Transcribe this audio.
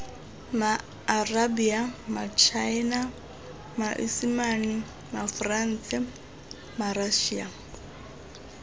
maarabia matšhaena maesimane maforanse marašia